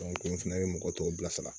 n fana ye mɔgɔ tɔw bila sara